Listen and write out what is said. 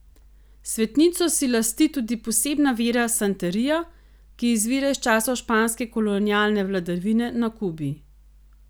Svetnico si lasti tudi posebna vera santeria, ki izvira iz časov španske kolonialne vladavine na Kubi.